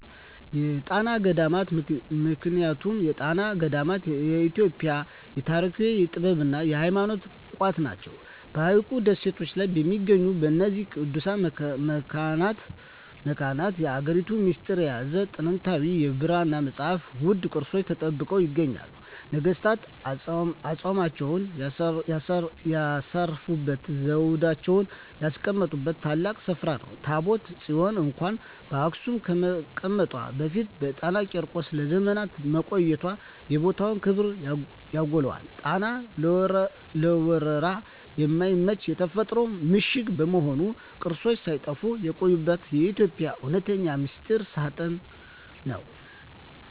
የጣና ገዳማት ምክንያቱም የጣና ገዳማት የኢትዮጵያ የታሪክ፣ የጥበብና የሃይማኖት ቋት ናቸው። በሐይቁ ደሴቶች ላይ በሚገኙት በእነዚህ ቅዱሳት መካናት፣ የሀገሪቱን ሚስጥር የያዙ ጥንታዊ የብራና መጻሕፍትና ውድ ቅርሶች ተጠብቀው ይገኛሉ። ነገሥታት አፅማቸውን ያሳረፉበትና ዘውዳቸውን ያስቀመጡበት ታላቅ ስፍራ ነው። ታቦተ ጽዮን እንኳን በአክሱም ከመቀመጧ በፊት በጣና ቂርቆስ ለዘመናት መቆየቷ የቦታውን ክብር ያጎላዋል። ጣና ለወረራ የማይመች የተፈጥሮ ምሽግ በመሆኑ፣ ቅርሶች ሳይጠፉ የቆዩበት የኢትዮጵያ እውነተኛ ሚስጥር ሳጥን ነው።